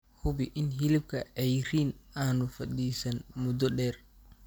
Hubi in hilibka cayriin aanu fadhiisan muddo dheer.